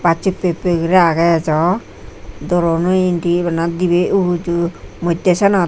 baj huppe huppe gori aage ajo door ono endi bana dibi uju modde senot.